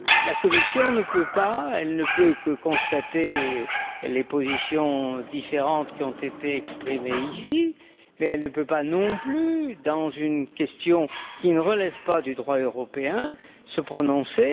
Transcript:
La Commission ne peut que constater les positions différentes qui ont été exprimées ici, mais elle ne peut pas non plus, dans une question qui ne relève pas du droit européen, se prononcer.